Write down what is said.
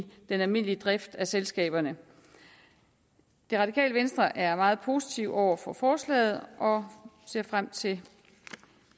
den almindelige drift af selskaberne det radikale venstre er meget positive over for forslaget og ser frem til